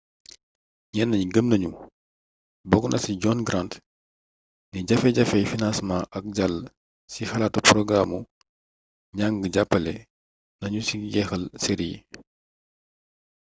ñenn ñi gëm nañu bokk na ci john grant ni jafe-jafey financement ak jàll ci xalaatu porogaraamu njàng jàppale nañu ci jeexal série yi